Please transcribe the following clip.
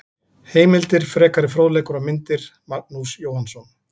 Heimildir, frekari fróðleikur og myndir: Magnús Jóhannsson.